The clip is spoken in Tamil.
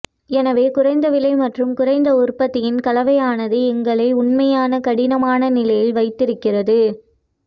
எனவே குறைந்த விலை மற்றும் குறைந்த உற்பத்தியின் கலவையானது எங்களை உண்மையான கடினமான நிலையில் வைத்திருக்கிறது